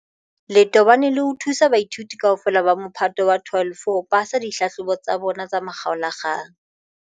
le tobane le ho thusa baithuti kaofela ba Mophato wa 12 ho pasa dihlahlobo tsa bona tsa makgaola-kgang.